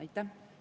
Aitäh!